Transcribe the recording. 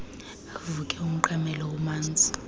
avuke umqamelelo umanzi